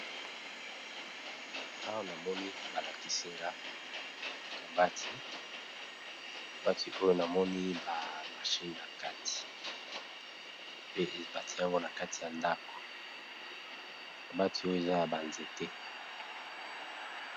Awa namoni balakisinga kabati kabati oyo namoni ba mashine na kati pe ebati yango na kati ya ndako kabati oyo eza ya banzete